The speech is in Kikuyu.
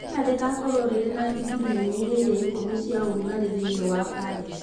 Rĩera rĩgaakorwo rĩrĩ na digrii inyihĩre ikũmi cia ũrugarĩ thĩinĩ wa Paris